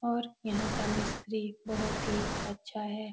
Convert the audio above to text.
और यहां का मिस्त्री बहुत ही अच्छा है।